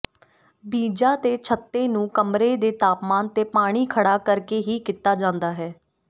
ਬੀਜਾਂ ਦੇ ਛੱਤੇ ਨੂੰ ਕਮਰੇ ਦੇ ਤਾਪਮਾਨ ਤੇ ਪਾਣੀ ਖੜ੍ਹਾ ਕਰਕੇ ਹੀ ਕੀਤਾ ਜਾਂਦਾ ਹੈ